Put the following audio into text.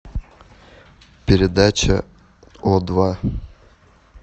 передача о два